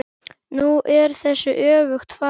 Nú er þessu öfugt farið.